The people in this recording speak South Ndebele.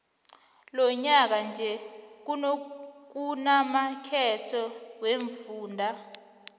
lonyaka nje kunamakhetho wemfunda